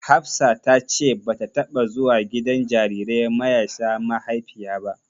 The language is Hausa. Hafsa ta ce bata taɓa zuwa gidan jarirai mayasa maihaifiya ba.